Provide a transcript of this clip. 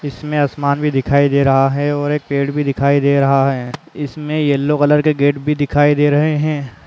इसमें आसमान भी दिखाई दे रहा हैं और एक पेड़ भी दिखाई दे रहा हैं इसमें येलो कलर के गेट भी दिखाई दे रहे है। --